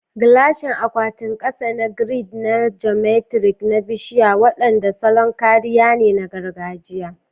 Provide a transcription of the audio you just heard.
Gilashin akwatin saƙa ne grid na geometric na bishiya waɗanda salon kariya ne na gargajiya.